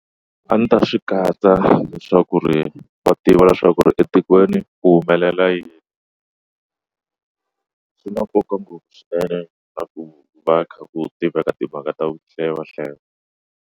A ndzi ta swi katsa leswaku ri va tiva leswaku ri etikweni ku humelela yini swi na nkoka ngopfu swinene a ku va kha ku tiveka timhaka ta ku hlaya va hlaya.